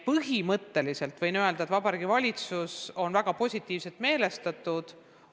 Põhimõtteliselt võin öelda, et Vabariigi Valitsus on väga positiivselt meelestatud.